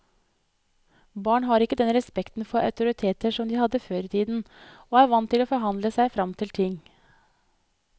Barn har ikke den respekten for autoriteter som de hadde før i tiden, og er vant til å forhandle seg frem til ting.